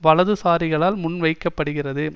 வலதுசாரிகளால் முன்வைக்கப்படுகிறது